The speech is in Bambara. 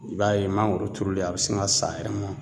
I b'a ye mangoro turulen a bɛ sin ka sa a yɛrɛ ma